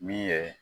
Min ye